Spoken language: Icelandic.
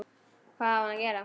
Hvað á hann að gera?